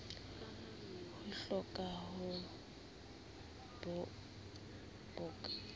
ho roka ke ho bokotsa